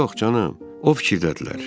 Yox, canım, o fikirdədirlər.